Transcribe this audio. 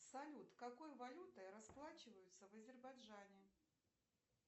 салют какой валютой расплачиваются в азербайджане